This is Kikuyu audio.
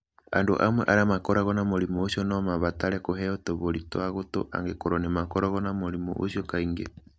Andũ amwe arĩa makoragwo na mũrimũ ũcio no mabatare kũheo tũbũri twa gũtũ angĩkorũo nĩ makoragwo na mũrimũ ũcio kaingĩ.